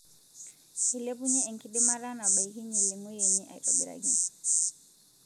Eilepunye enkidimata nabaikinyie lengoi enye aitobiraki